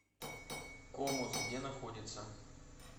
комус где находится